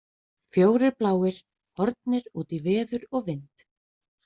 Fjórir bláir horfnir út í veður og vind!